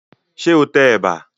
Ṣé o tẹ ẹ̀bà?